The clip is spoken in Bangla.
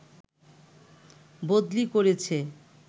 বদলি করেছে